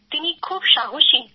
তিনি খুব সাহসী